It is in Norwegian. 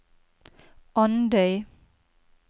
Andøy